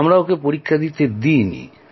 আমরা ওকে পরীক্ষা দিতে দিইনি